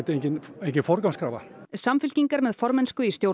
engin forgangskrafa samfylking er með formennsku í stjórn